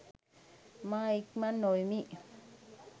මා ඉක්මන් නොවෙමි.